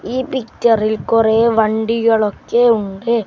ഈ പിക്ചറിൽ കൊറെ വണ്ടികൾ ഒക്കെ ഉണ്ട്.